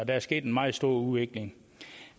er sket en meget stor udvikling